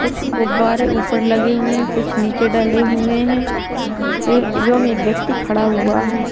कुछ गुब्बारे ऊपर लगे हुए हैं कुछ नीचे डले हुए हैं ए एवं एक व्यक्ति खड़ा हुआ है।